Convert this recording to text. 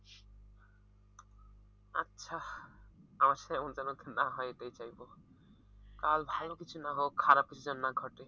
আচ্ছা আমার সাথে এমন টা যেন না হয় এটাই চাইবো কাল ভালো কিছু না হোক খারাপ কিছু যেন না ঘটে।